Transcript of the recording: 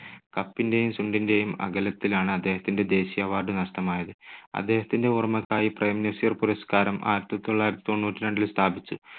കപ്പിന്റെയും ചുണ്ടിന്റെയും അകലത്തിലാണ് അദ്ദേഹത്തിന്റെ ദേശീയ award നഷ്ടമായത്. അദ്ദേഹത്തിന്റെ ഓർമ്മയ്ക്കായി പ്രേം നസീർ പുരസ്കാരം ആയിരത്തി തൊള്ളായിരത്തി തൊണ്ണൂറ്റിരണ്ടിൽ സ്ഥാപിച്ചു.